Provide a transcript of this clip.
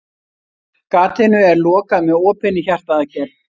Gatinu er lokað með opinni hjartaaðgerð.